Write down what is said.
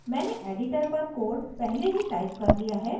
मैंने editor पर code पहले ही टाइप कर लिया है